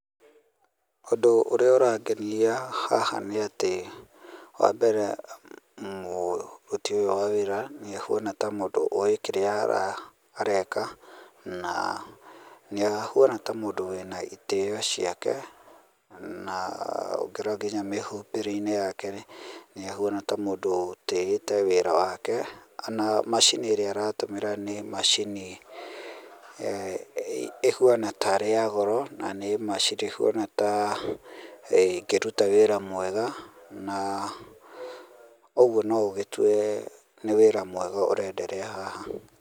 Ũndũ ũrĩa ũrangenia haha nĩ atĩ, wa mbere, mũrũti ũyũ wa wĩra nĩ ahuana ta mũndũ ũĩ kĩrĩa ara, areka, na nĩahuana ta mũndũ wĩna itĩo ciake, na ũngĩrora nginya mĩhumbĩre-inĩ yake, nĩahuana ta mũndũ ũtĩĩte wĩra wake. O na macini ĩrĩa aratũmĩra nĩ macini, ĩhuana ta ĩrĩ ya goro, na nĩ macini ĩhuana ta, ĩngĩruta wĩra mwega, na ũguo no ũgĩtue, nĩ wĩra mwega ũrenderea haha.